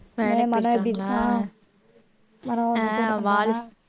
மனோ எப்படி இருக்கான்